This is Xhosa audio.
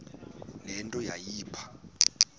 le nto yayipha